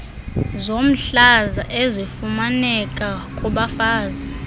zomhlaza ezifumaneka kubafazi